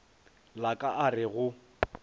la ka a re go